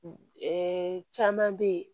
caman bɛ yen